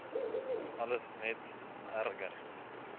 alles net erger